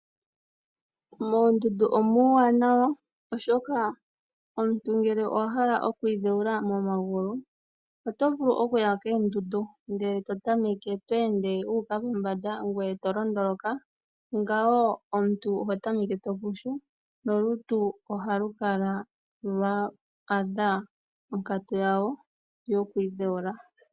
Moondundu omuu wa nawa oshoka ngele omuntu ahala okwiidheula momagulu, oto vulu okuya koondundu ndee tweende wuuka pombanda ngwe tolondoloka ngawo omuntu oho tameke topushu no lutu oha lu kala lwa adha onkatu yalwo lwo kwiidheula.